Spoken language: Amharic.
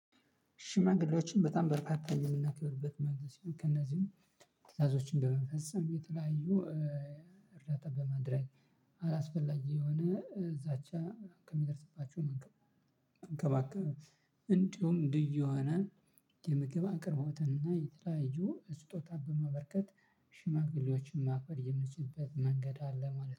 ሽማግሌዎችን በጣም በርካታ የምናከብርበት መንገድ ሲሆን ከእነዚህም ትዕዛዞች እንደመፈጸም የተለያዩ። እርዳታ በማድረግ አላስፈላጊ የሆነ እዛች ከሚደርስባቸው መንከባከብ። እንዲሁም እንደየዋና የምግብ አቅርቦትና የተላያዩ ስጦታ በማበርከት። ሽማግሌዎችን ማክበር የሚችልበት መንገድ አለ ማለት ነው